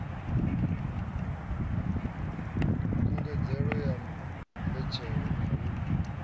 khungedzelo ya mbetshelo na u